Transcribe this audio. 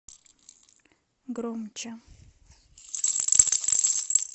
громче